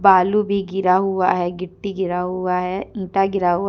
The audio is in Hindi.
बालू भी गिरा हुआ है गिट्टी गिरा हुआ है ईंटा गिरा हुआ --